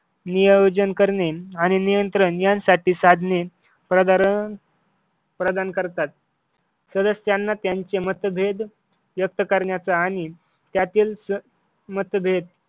नियोजन करणे आणि नियंत्रण यांसारखे साधने प्राधारं प्रधान करतात सदस्यांना त्यांचे मतभेद व्यक्त करण्याचा आणि त्यातील स मतभेद